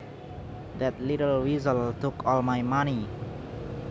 That little weasel took all my money